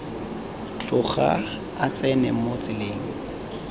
tloga a tsena mo tseleng